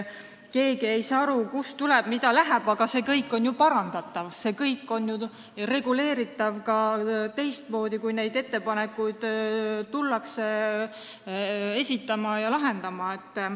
Keegi ei saa aru, kust tuleb ja kuhu läheb, aga see kõik on ju parandatav, see kõik on reguleeritav ka teistmoodi, kui neid ettepanekuid esitatakse ja arutatakse.